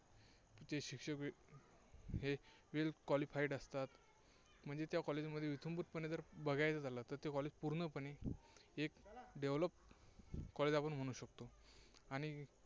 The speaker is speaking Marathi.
शिक्षकही well qualified असतात. म्हणजे त्या College मध्ये इत्यंभूतपणे बघायचं झालं तर College पूर्णपणे एक Developed college आपण म्हणू शकतो. आणि